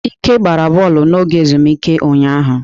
Ike gbara bọọlụ n'oge ezumike ụnyaahụ.